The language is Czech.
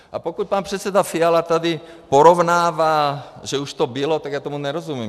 A pokud pan předseda Fiala tady porovnává, že už to bylo, tak já tomu nerozumím.